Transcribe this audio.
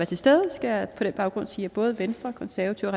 til stede skal jeg på den baggrund sige at både venstre konservative